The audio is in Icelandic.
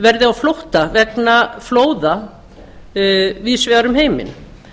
verði á flótta vegna flóða víðs vegar um heiminn